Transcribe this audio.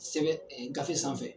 Sɛbɛn gafe sanfɛ